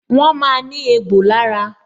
Wọn máa ní egbò lára